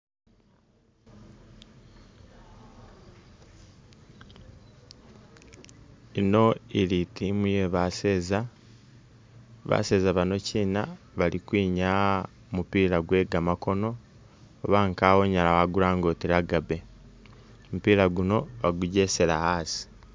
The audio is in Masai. Ino ili i'team ye baseeza , baseeza bano chiina bali kwinyaya mupiila kwe gamakoono oba unyala wakulanga uri rugby, mupiila guno, bagujesela asi.